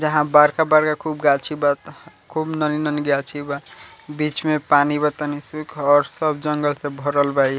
जहाँ बड़का-बड़का खुब गाछी बा खुब नन्ही-नन्ही गाछी बा बीच में पानी बा तनी सु सब जंगल से भरल बा इ।